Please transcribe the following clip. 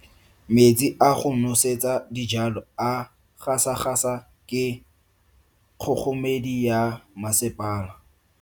Metsi a go nosetsa dijalo a gasa gasa ke kgogomedi ya masepala.